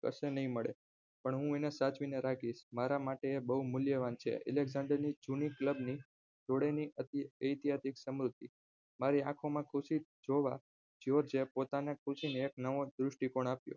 પછી નહિ મળે પણ હું એને સાચવીને રાખીશ મારામાટે આ બહું મૂલ્યવાન છે અલેકક્ષાંડર ની જૂની club ની જોડેલી એતિહાસિક સ્મૃતિ મારી આંખોમાં ખુશી જોવા જ્યોર્જ પોતાની ખુશી ને એક નવો દ્રષ્ટિકોણ આપ્યો